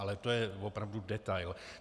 Ale to je opravdu detail.